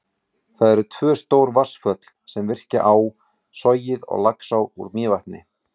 Það eru tvö stór vatnsföll, sem virkja á, Sogið og Laxá úr Mývatni.